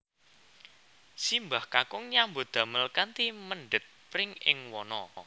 Simbah kakung nyambut damel kanthi mendhet pring ing wana